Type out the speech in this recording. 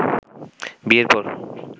বিয়ের পর